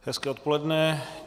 Hezké odpoledne.